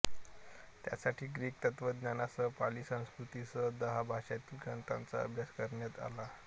त्यासाठी ग्रीक तत्त्वज्ञानासह पाली संस्कृतसह दहा भाषांतील ग्रंथांचा अभ्यास करण्यात आला